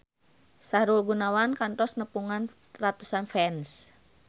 Sahrul Gunawan kantos nepungan ratusan fans